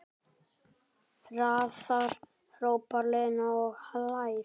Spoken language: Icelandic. Hraðar, hrópar Lena og hlær.